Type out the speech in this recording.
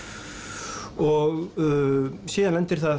og síðan lendir það